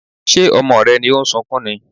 Ṣé ọmọ rẹ ni ó ń sunkún ni?